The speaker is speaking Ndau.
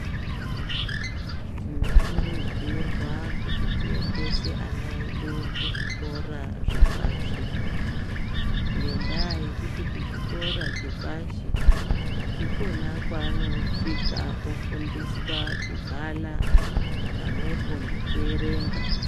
Tinokurudzirwa kuti tiendese ana edu ku zvikora zvepashe ngendaa ekuti kuchikora chepashe ndikona kwaanosvika ofundiswa kubhala pamwepo ngekuerenga